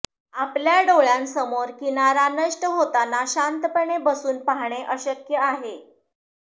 आपल्या डोळ्यांसमोर किनारा नष्ट होताना शांतपणे बसून पाहणे अशक्य आहे